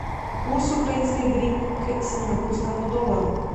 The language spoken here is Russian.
курс украинской гривны к сингапурскому доллару